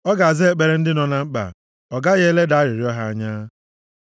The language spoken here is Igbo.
Ọ ga-aza ekpere ndị nọ na mkpa; ọ gaghị eleda arịrịọ ha anya.